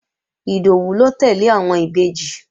Ìdòwú ló tẹ́lẹ̀ àwọn Ìbejì